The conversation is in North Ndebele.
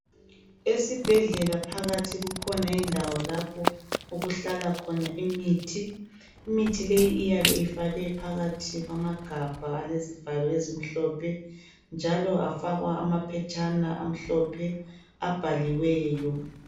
Esibhedlela phakathi kukhona indawo lapho okuhlala khona imithi. Imithi leyi iyabe ifakwe phakathi kwamagabha alezivalo ezimhlophe njalo afakwa amaphetshana amhlophe abhaliweyo.